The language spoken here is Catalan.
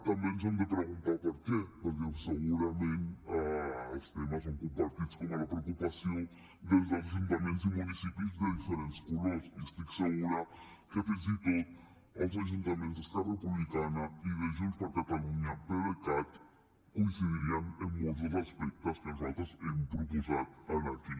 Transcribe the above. també ens hem de preguntar per què perquè segurament els temes són compartits com la preocupació dels ajuntaments i municipis de diferents colors i estic segura que fins i tot els ajuntaments d’esquerra republicana i de junts per catalunya pdecat coincidirien en molts dels aspectes que nosaltres hem proposat aquí